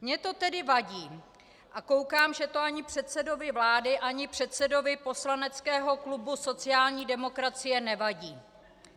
Mně to tedy vadí - a koukám, že to ani předsedovi vlády ani předsedovi poslaneckého klubu sociální demokracie nevadí .